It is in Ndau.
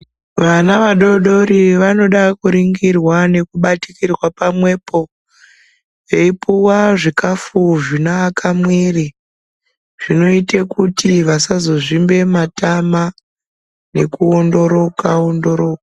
Vana vadodori vanoda kuringirwa nekubatikirwa pamwepo eyipuwa zvikafu zvinoaka mwiri zvinoite kuti vasazozvimbe matama nekuwondoroka wondoroka.